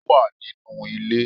Ó wà nínú ilé